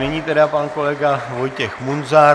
Nyní tedy pan kolega Vojtěch Munzar.